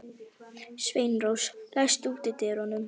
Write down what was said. Sveinrós, læstu útidyrunum.